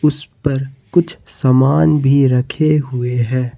इस पर कुछ सामान भी रखे हुए हैं।